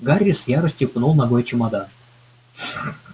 гарри с яростью пнул ногой чемодан